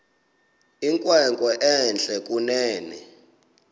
inkwenkwe entle kunene